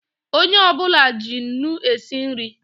Onye ọ bụla ji nnu esi nri